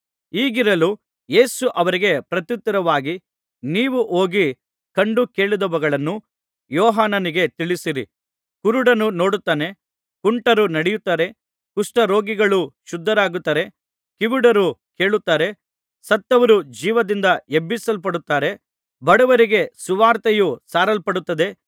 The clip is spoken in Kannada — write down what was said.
ಹೀಗಿರಲು ಯೇಸು ಅವರಿಗೆ ಪ್ರತ್ಯುತ್ತರವಾಗಿ ನೀವು ಹೋಗಿ ಕಂಡು ಕೇಳಿದವುಗಳನ್ನು ಯೋಹಾನನಿಗೆ ತಿಳಿಸಿರಿ ಕುರುಡರು ನೋಡುತ್ತಾರೆ ಕುಂಟರು ನಡೆಯುತ್ತಾರೆ ಕುಷ್ಠರೋಗಿಗಳು ಶುದ್ಧರಾಗುತ್ತಾರೆ ಕಿವುಡರು ಕೇಳುತ್ತಾರೆ ಸತ್ತವರು ಜೀವದಿಂದ ಎಬ್ಬಿಸಲ್ಪಡುತ್ತಾರೆ ಬಡವರಿಗೆ ಸುವಾರ್ತೆಯು ಸಾರಲ್ಪಡುತ್ತಿದೆ